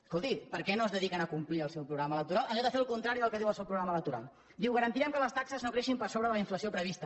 escolti per què no es dediquen a complir el seu programa electoral en lloc de fer el contrari del que diu el seu programa electoral diu garantirem que les taxes no creixin per sobre de la inflació prevista